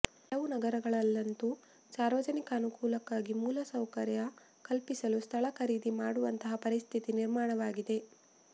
ಕೆಲವು ನಗರಗಳಲ್ಲಂತೂ ಸಾರ್ವಜನಿಕ ಅನುಕೂಲಕ್ಕಾಗಿ ಮೂಲಸೌಕರ್ಯ ಕಲ್ಪಿಸಲು ಸ್ಥಳ ಖರೀದಿ ಮಾಡುವಂತಹ ಪರಿಸ್ಥಿತಿ ನಿರ್ಮಾಣ ವಾಗಿದೆ